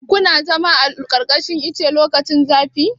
Kina zama a ƙarƙashin ice lokacin zafi?